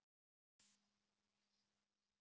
Heiða segir góðan daginn!